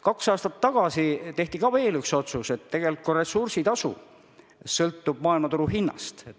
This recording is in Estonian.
Kaks aastat tagasi tehti ka veel üks otsus, et ressursitasu sõltub maailmaturu hinnast.